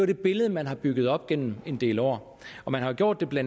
det billede man har bygget op igennem en del år og man har gjort det